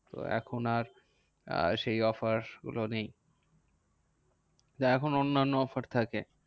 তো এখন আর সেই offer গুলো নেই। এখন অন্যান্য offer থাকে।